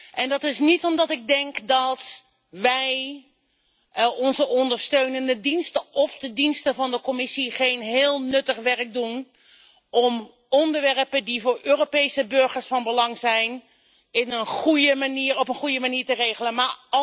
En dat is niet omdat ik denk dat wij onze ondersteunende diensten of de diensten van de Commissie geen heel nuttig werk doen om onderwerpen die voor Europese burgers van belang zijn op een goede manier te regelen.